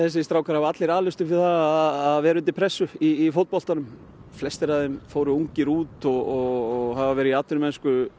strákar hafa allir alist upp við að vera undir pressu í fótboltanum flestir af þeim fóru ungir út og hafa verið í atvinnumennsku